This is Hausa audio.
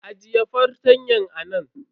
Ajiye fartanyan nan.